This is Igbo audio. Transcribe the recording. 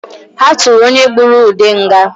Ha tụrụ onye gbụrụ Ude nga